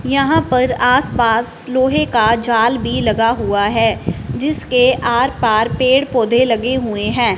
यहां पर आसपास लोहे का जाल भी लगा हुआ हैं जिसके आरपार पेड़ पौधे लगे हुएं हैं।